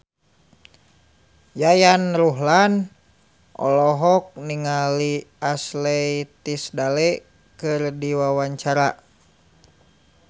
Yayan Ruhlan olohok ningali Ashley Tisdale keur diwawancara